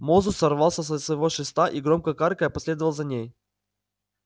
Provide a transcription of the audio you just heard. мозус сорвался со своего шеста и громко каркая последовал за ней